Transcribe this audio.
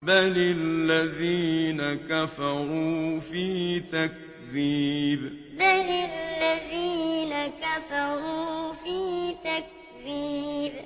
بَلِ الَّذِينَ كَفَرُوا فِي تَكْذِيبٍ بَلِ الَّذِينَ كَفَرُوا فِي تَكْذِيبٍ